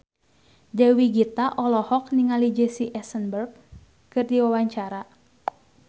Dewi Gita olohok ningali Jesse Eisenberg keur diwawancara